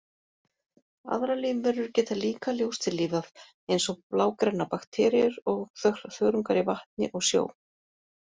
Aðrar lífverur geta líka ljóstillífað, eins og blágrænar bakteríur og þörungar í vatni og sjó.